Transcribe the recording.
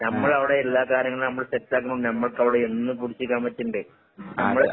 ആഹ്. അത്